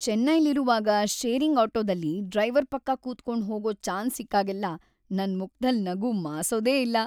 ಚೆನ್ನೈಲಿರುವಾಗ sharing ಆಟೋದಲ್ಲಿ driver ಪಕ್ಕ ಕೂತ್ಕೊಂಡ್ ಹೋಗೋ ಚಾನ್ಸ್‌ ಸಿಕ್ಕಾಗ್ಲೆಲ್ಲ ನನ್‌ ಮುಖ್ದಲ್ ನಗು ಮಾಸೋದೇ ಇಲ್ಲ.